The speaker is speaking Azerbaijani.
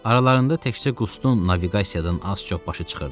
Aralarında təkcə Qustun naviqasiyadan az-çox başı çıxırdı.